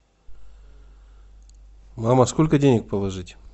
мама сколько денег положить